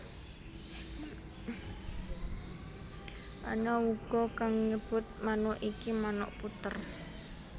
Ana uga kang nyebut manuk iki manuk puter